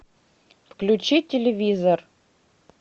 включи телевизор